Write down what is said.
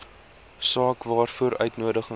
saak waaroor uitnodigings